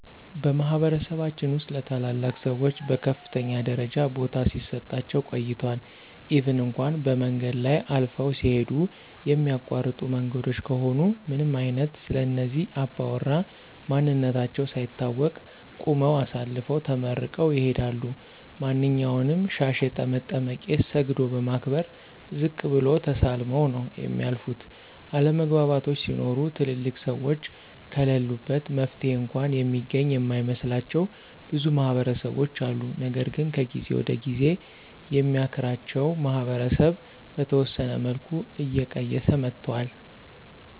በማህበረሰባችን ውስጥ ለታላላቅ ሰዎች በከፍተኛ ደረጃ ቦታ ሲሰጣቸው ቆይቷል ኢቭን እንኳ በመንገድ ላይ አልፈው ሲሂዱ የሚያቋርጡ መንገዶች ከሆኑ ምንም አይነት ስለእነዚህ አባውራ ማንነታቸው ሳይታወቅ ቁመው አሳልፈው ተመርቀው ይሂዳሉ። ማንኛውንም ሻሽ የጠመጠመ ቄስ ሰግዶ በማክበር ዝቅ ብሎ ተሳልመው ነው የሚያልፉት፤ አለመግባባቶች ሲኖሩ ትልልቅ ሰዎች ከለሉበት መፍትሔ እንኳ የሚገኝ የማይመስላቸው ብዙ ማህበረሰቦች አሉ። ነገር ግን ከጊዜ ወደ ጊዜ የሚያክራቸው ማህበረሰብ በተወሰነ መልኩ እየቀየሰ መጥቷል።